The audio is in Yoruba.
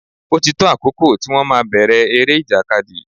Ó ti tó àkókò tí wón máa bèrè eré ìjàkadì.